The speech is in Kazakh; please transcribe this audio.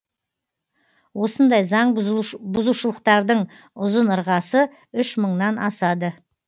осындай заң бұзушылықтардың ұзын ырғасы үш мыңнан асады